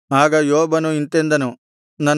ಆಗ ಯೋಬನು ಇಂತೆಂದನು